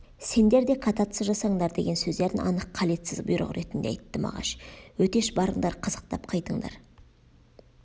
сендер де кататься жасаңдар деген сөздерін анық қалетсіз бұйрық ретінде айтты мағаш өтеш барыңдар қызықтап қайтыңдар